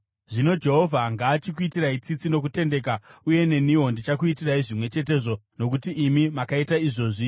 Zvino Jehovha ngaachikuitirai tsitsi nokutendeka, uye neniwo ndichakuitirai zvimwe chetezvo nokuti imi makaita izvozvi.